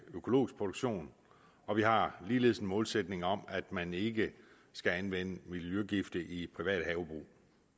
økologisk produktion og vi har ligeledes en målsætning om at man ikke skal anvende miljøgifte i private havebrug